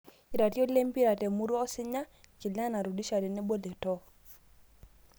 Iratiot lempira temurua osinya; Kilena, Rudisha tenebo Letoo